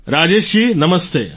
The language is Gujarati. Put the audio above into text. રાજેશ જી નમસ્તે